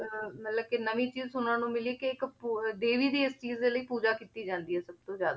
ਅਹ ਮਤਲਬ ਕਿ ਨਵੀਂ ਚੀਜ਼ ਸੁਣਨ ਨੂੰ ਮਿਲੀ ਕਿ ਇੱਕ ਪੂ~ ਦੇਵੀ ਦੀ ਇਸ ਚੀਜ਼ ਦੇ ਲਈ ਪੂਜਾ ਕੀਤੀ ਜਾਂਦੀ ਹੈ ਸਭ ਤੋਂ ਜ਼ਿਆਦਾ